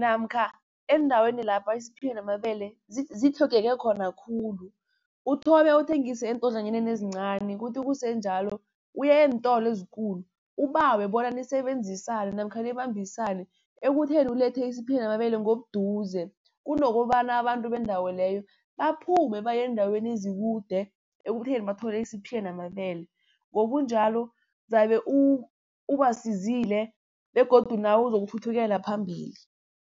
namkha eendaweni lapha isiphila namabele zitlhogeke khona khulu. Uthome uthengise eentodlwanyaneni ezincani kuthi kusenjalo uye eentolo ezikulu, ubawe bona nisebenzisane namkha nibambisane ekutheni ulethe isiphila namabele ngobuduze. Kunokobana abantu bendawo leyo baphume baye eendaweni ezikude, ekutheni bathole isiphila namabele. Ngobunjalo zabe ubasizile begodu nawe uzokuthuthukela phambili.